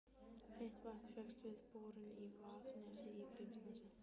Heitt vatn fékkst við borun í Vaðnesi í Grímsnesi.